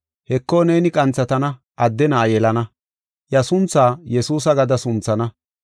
Heko neeni qanthatana adde na7a yelana, iya sunthaa Yesuusa gada sunthana.